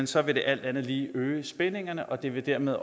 så vil det alt andet lige øge spændingerne og det vil dermed